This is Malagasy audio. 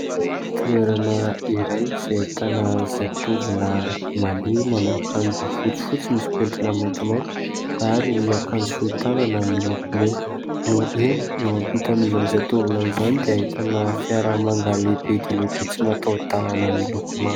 Toerana iray izay ahitana zatovolahy mandeha manao akanjo fotsifotsy misy mpentina maintimainty ary ny akanjo fohy tanana milokomena. Eny eo ampitan'izany zatovolahy izany dia ahitana fiara manga lehibe dia lehibe tsy matao-dalàna miloko manga.